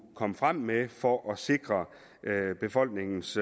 komme frem med for at sikre befolkningens